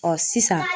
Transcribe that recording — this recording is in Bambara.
Ɔ sisan